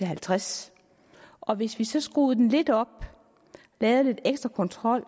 halvtreds og hvis vi så skruede det lidt op lavede lidt ekstra kontrol